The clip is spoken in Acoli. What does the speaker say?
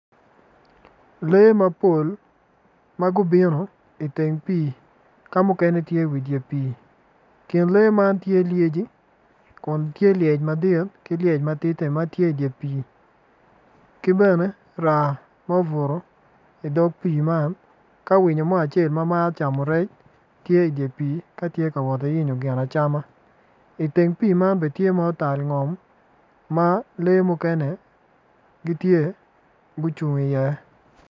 Lee mapol ma gubino i teng pii ka muknene gitye i dye pii i kin lee man tye lyeci kun tye lyec madit ki lyec ma tidine ma tye i dye pii ki bene raa ma obuto i dog pii man ka winyo mo ma maro camo rec tye i dye pii ka woto ki yenyo gin acama.